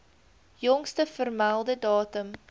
jongste vermelde datum